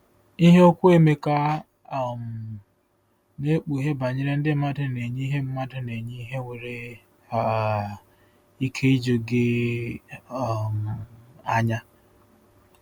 Ihe okwu Emeka um na-ekpughe banyere ndị mmadụ na-enye ihe mmadụ na-enye ihe nwere um ike iju gị um anya.